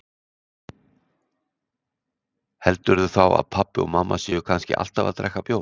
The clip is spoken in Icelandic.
Heldurðu þá að pabbi og mamma séu kannski alltaf að drekka bjór?